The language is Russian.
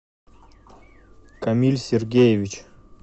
камиль сергеевич